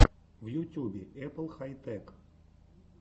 в ютюбе эппл хай тэк